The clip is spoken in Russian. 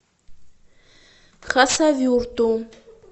хасавюрту